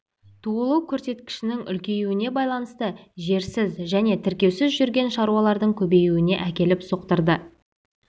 туылу көрсеткішінің үлкеюіне байланысты жерсіз және тіркеусіз жүрген шаруалардың көбеюіне әкеліп соқтырды